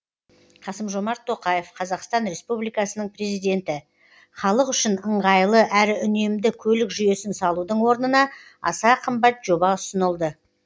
қасым жомарт тоқаев қазақстан республикасының президенті халық үшін ыңғайлы әрі үнемді көлік жүйесін салудың орнына аса қымбат жоба ұсынылды